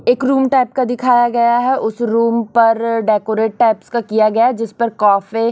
एक room type का दिखाया गया है उस रूम पर डेकोरेट टाइप्स का किया गया जिस पर कॉफे--